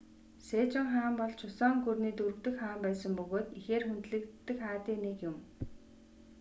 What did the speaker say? сежон хаан бол чусон гүрний дөрөв дэх хаан байсан бөгөөд ихээр хүндлэгддэг хаадын нэг юм